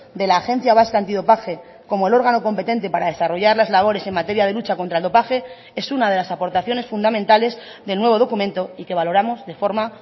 de la agencia vasca antidopaje como el órgano competente para desarrollar las labores en materia de lucha contra el dopaje es una de las aportaciones fundamentales del nuevo documento y que valoramos de forma